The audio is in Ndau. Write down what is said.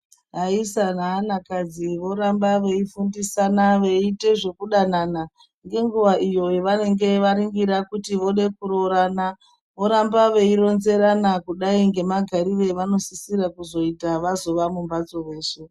Ayisa ne ana kadzi voramba vei fundisana vei ite zveku danana nge nguva iyo ya vanenge vaningira kuti vode ku rorana oramba vei ronzerana kudai nge magarire avano sisire kuzo ita vazova mu mbatso veshe.